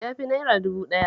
Ya fi naira dubu ɗaya.